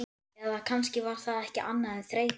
Eða kannski var það ekki annað en þreyta.